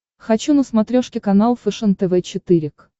хочу на смотрешке канал фэшен тв четыре к